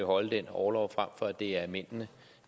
holde den orlov frem for at det er mændene